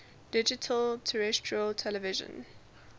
digital terrestrial television